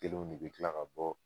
Kelen de bi kila ka bɔ